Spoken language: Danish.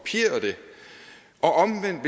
have